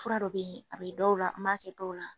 Fura dɔ be yen , a be dɔw la n ba kɛ dɔw la.